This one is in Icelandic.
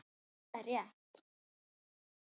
Nei, það er rétt.